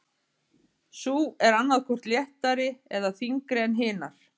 Sú er annað hvort léttari eða þyngri en hinar.